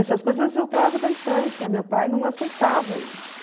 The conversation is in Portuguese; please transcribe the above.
Essas coisas eu trago da infância, meu pai não aceitava isso.